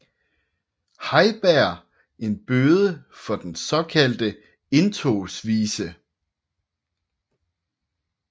Heiberg en bøde for den såkaldte Indtogsvise